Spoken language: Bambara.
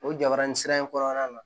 O jabarani sira in kɔnɔna na